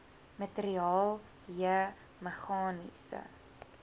materiaal j meganiese